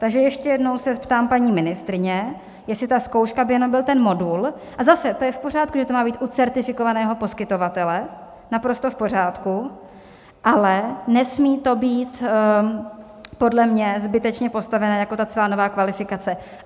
Takže ještě jednou se ptám paní ministryně, jestli ta zkouška by jenom byl ten modul - a zase, to je v pořádku, že to má být u certifikovaného poskytovatele, naprosto v pořádku, ale nesmí to být podle mě zbytečně postavené jako ta celá nová kvalifikace.